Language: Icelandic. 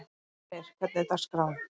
Fjölnir, hvernig er dagskráin?